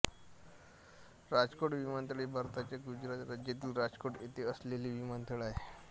राजकोट विमानतळ हे भारताच्या गुजरात राज्यातील राजकोट येथे असलेले विमानतळ आहे